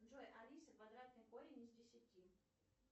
джой алиса квадратный корень из десяти